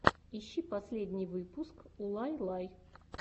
ищи последний выпуск улайлай